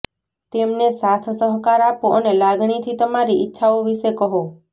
તેમને સાથ સહકાર આપો અને લાગણીથી તમારી ઇચ્છાઓ વિશે કહો